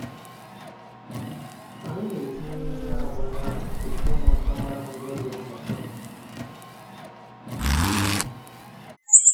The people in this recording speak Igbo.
Anyị na-etinye eriri agba n’aka iko ka ụmụaka mara ha n’oge mmụta.